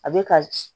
A bɛ ka